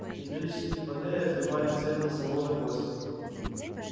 металлические панели отливали цветом слоновой кости